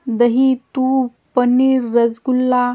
दही तूप पनीर रसगुल्ला--